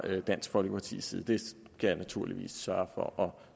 dansk folkepartis side det skal jeg naturligvis sørge for at